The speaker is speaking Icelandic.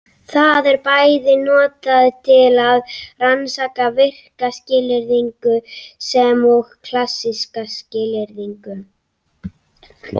Það er bæði notað til að rannsaka virka skilyrðingu sem og klassíska skilyrðingu.